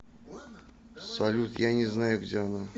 салют я не знаю где она